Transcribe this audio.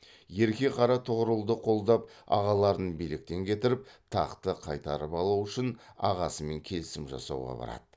ерке қара тұғырылды қолдап ағаларын биліктен кетіріп тақты қайтарып алу үшін ағасымен келісім жасауға барады